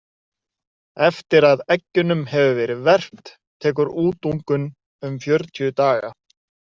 Eftir að eggjunum hefur verið verpt tekur útungun um fjörutíu daga.